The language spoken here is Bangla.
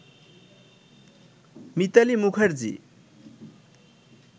মিতালী মুখার্জী